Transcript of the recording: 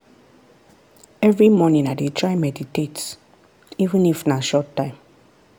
every morning i dey try meditate — even if na short time.